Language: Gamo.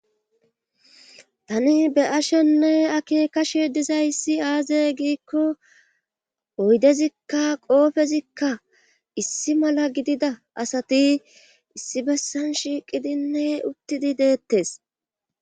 tani be7ashenne ake kashe dizayissi aaze giikko oydezikka qoofezikka issi mala gidida asati issi bessan shiiqidinne uttidi deettes.